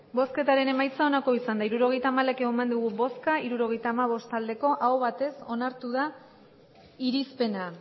hirurogeita hamalau eman dugu bozka hirurogeita hamabost bai aho batez onartu da irizpena